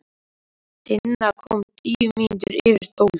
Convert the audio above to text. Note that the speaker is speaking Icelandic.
Tinna kom tíu mínútur yfir tólf.